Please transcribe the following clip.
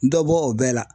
Dɔ bɔ o bɛɛ la